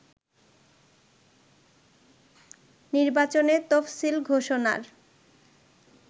নির্বাচনের তফসিল ঘোষণার